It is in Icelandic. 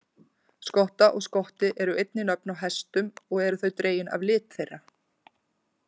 Skotta og Skotti eru einnig nöfn á hestum og eru þau dregin af lit þeirra.